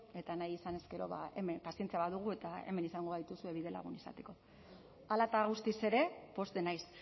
eta nahi izanez gero ba hemen pazientzia badugu eta hemen izango gaituzue bidelagun izateko hala eta guztiz ere pozten naiz